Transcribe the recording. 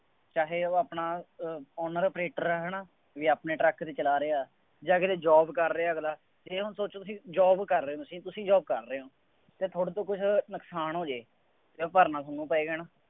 ਚਾਹੇ ਉਹ ਆਪਣਾ ਅਹ owner operator ਹੈ, ਹੈ ਨਾ, ਬਈ ਆਪਣੇ ਟਰੱਕ ਚਲਾ ਰਿਹਾ ਜਾਂ ਕਿਤੇ job ਕਰ ਰਿਹਾ ਅਗਲਾ, ਇਉਂ ਸੋਚੋ ਕਿ job ਕਰ ਰਹੇ ਹੋ ਤੁਸੀਂ, ਇੱਥੇ ਹੀ job ਕਰ ਰਹੇ ਹੋ, ਜੇ ਤੁਹਾਡੇ ਤੋਂ ਕੁੱਛ ਨੁਕਸਾਨ ਹੋ ਜਾਏ, ਤਾਂ ਭਰਨਾ ਤੁਹਾਨੂੰ ਪਏਗਾ, ਹੈ ਨਾ।